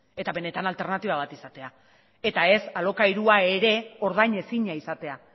eta benetan alternatiba bat izatea eta ez alokairua ere ordainezina izatea